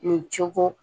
Nin cogo